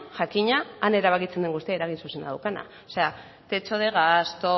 jakina han erabakitzen den guztia eragin zuzena daukana o sea techo de gasto